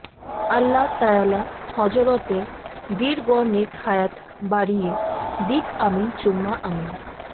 আল্লাহ তায়ালা হযরতের দির গ নেক হায়াত বারিয়ে দিক আমিন চুম্মা আমিন